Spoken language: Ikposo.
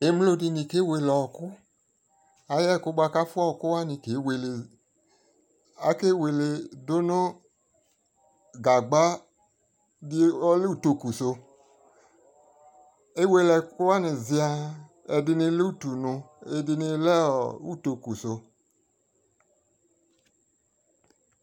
ɛmlɔ dini kɛ wɛlɛ ɔkʋ, ayɛkʋ bʋa kʋ aƒʋa ɔkʋ wani kɛ wɛlɛ ,akɛ wɛlɛ dʋnʋ gagba di ɔlɛ ʋtɔkʋ sʋ, ɛwɛlɛ ɛkʋwani ziaa, ɛdi lɛ ʋtʋ nʋ, ɛdini lɛ ʋtɔkʋ sʋ